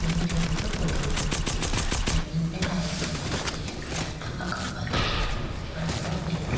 इम छोटो सो पौधो उग्यो दिखरयो जमीन पे टाइल्स लगा दिखेरिया लाइटा का खम्भा दिखेरया बड़ा बड़ा पेड़ दिख --